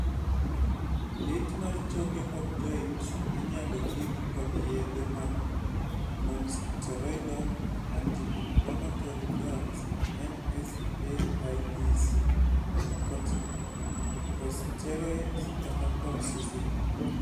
lit mar choke kod joints inyalo thidh kod yedhe mag nonsteroidal anti inflammatory drugs (NSAIDs), corticosteroids kata colchicine.